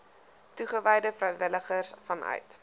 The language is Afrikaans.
toegewyde vrywilligers vanuit